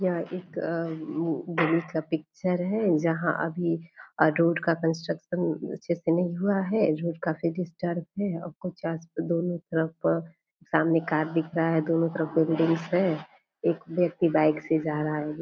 ये तो अभी तो इस जगह पे काम चल रही है अभी ये जगह पूरी तरह से तैयार नहीं हुआ है फिर भी देखिए कितना अच्छा फील्ड है ये जगह जब तैयार होगी तब तो यहाँ बहुत ही अच्छा नज़ारा देखने को मिलेगा सभी लोगों को सभी यहाँ पे आ के घूम सकते हैं अभी फिलहाल में यहाँ पे काम चल रही है।